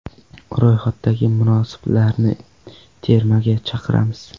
Ro‘yxatdagi munosiblarni termaga chaqiramiz.